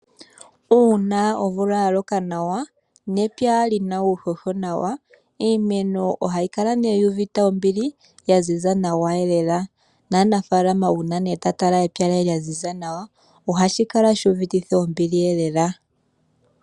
Uuna omvula ya loka nawa, nepya lyina uuhoho wagwana nawa iimeno ohayi kala yuuvite ombili nohayi zizi nawa. Aanafaalama uuna taya tala iimeno yawo yo opala ohaya kala yanyanyukwa lela.